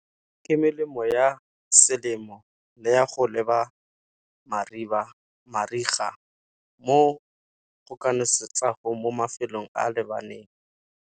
Ke melemo ya selemo le ya go leba mariga, mo go ka nosetsango mo mafelong a lebaneng.